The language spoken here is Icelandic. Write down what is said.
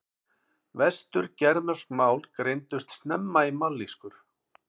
Vestur-germönsk mál greindust snemma í mállýskur.